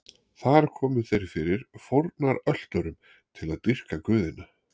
Þar komu þeir fyrir fórnarölturum til að dýrka guðina.